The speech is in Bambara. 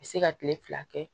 Be se ka kile fila kɛ